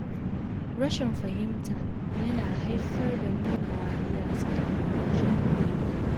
Rashin fahimta yana haifar da nuna wariya a tsakanin jama’a.